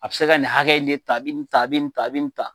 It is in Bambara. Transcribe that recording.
A bɛ se ka nin hakɛ in de ta, a bɛ nin ta , a bɛ nin ta , a bɛ nin ta.